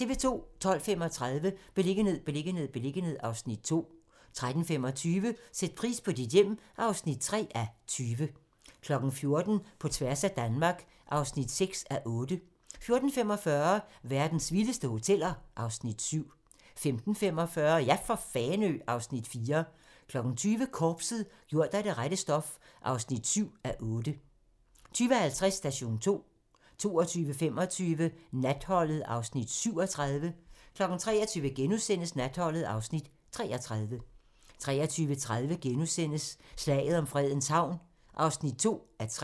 12:35: Beliggenhed, beliggenhed, beliggenhed (Afs. 2) 13:25: Sæt pris på dit hjem (3:20) 14:00: På tværs af Danmark (6:8) 14:45: Verdens vildeste hoteller (Afs. 7) 15:45: Ja for Fanø! (Afs. 4) 20:00: Korpset - gjort af det rette stof (7:8) 20:50: Station 2 22:25: Natholdet (Afs. 37) 23:00: Natholdet (Afs. 33)* 23:30: Slaget om Fredens Havn (2:3)*